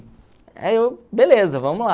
Aí eu, beleza, vamos lá.